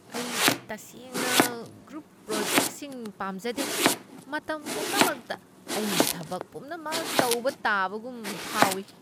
ꯑꯩ ꯇꯁꯦꯡꯅ ꯒ꯭ꯔꯨꯞ ꯄ꯭ꯔꯣꯖꯦꯛꯁꯤꯡ ꯄꯥꯝꯖꯗꯦ, ꯃꯇꯝ ꯄꯨꯝꯅꯃꯛꯇ ꯑꯩꯅ ꯊꯕꯛ ꯄꯨꯝꯅꯃꯛ ꯇꯧꯕ ꯇꯥꯕꯒꯨꯝ ꯐꯥꯎꯢ꯫